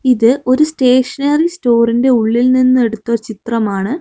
ഇത് ഒരു സ്റ്റേഷനറി സ്റ്റോറിന്റെ ഉള്ളിൽ നിന്നെടുത്ത ചിത്രമാണ്.